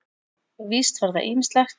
Víst var það ýmislegt.